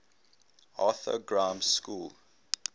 arthur grimes school